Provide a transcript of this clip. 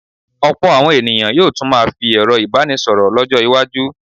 Ọ̀pọ̀ àwọn ènìyàn yóò tún máa fi ẹ̀rọ ìbánisọ̀rọ̀ lọ́jọ́-iwájú.